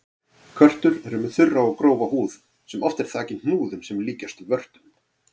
Körtur eru með þurra og grófa húð sem oft er þakin hnúðum sem líkjast vörtum.